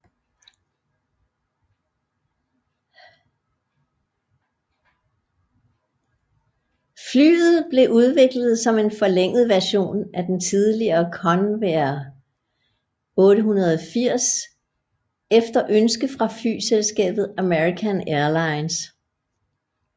Flyet blev udviklet som en forlænget version af den tidligere Convair 880 efter ønske fra flyselskabet American Airlines